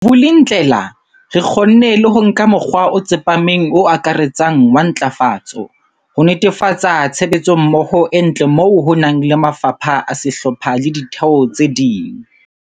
Vulindlela, re kgonne le ho nka mokgwa o tsepameng o akaretsang wa ntlafatso, ho netefatsa tshebetsommoho e ntle moo ho nang le mafapha a sehlopha le ditheo tse ding.